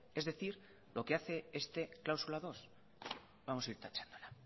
es decir lo que hace esta cláusula dos vamos a ir tachándola